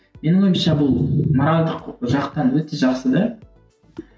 менің ойымша бұл моральдік жақтан өте жақсы да